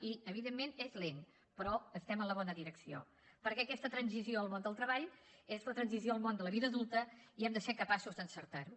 i evidentment és lent però estem en la bona direcció perquè aquesta transició al món del treball és la transició al món de la vida adulta i hem de ser capaços d’encertar ho